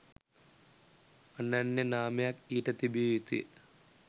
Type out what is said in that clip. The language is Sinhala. අනන්‍ය නාමයක් ඊට තිබිය යුතුය